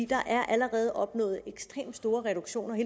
der er allerede opnået ekstremt store reduktioner